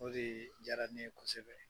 O de diyara ne ye kosɛbɛ.